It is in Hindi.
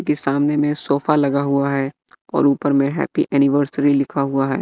के सामने में सोफा लगा हुआ है और ऊपर में हैप्पी एनिवर्सरी लिखा हुआ है।